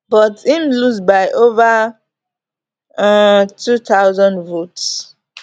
but im lose by ova um two thousand votes